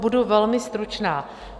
Budu velmi stručná.